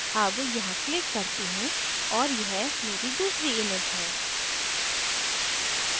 अब यहाँ click करती हूँ और यह मेरी दूसरी image है